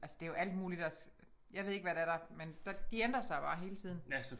Altså det jo alt muligt også jeg ved ikke hvad det er der men der de ændrer sig bare hele tiden